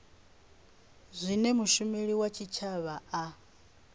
zwine mushumeli wa tshitshavha a